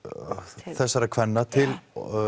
þessara kvenna til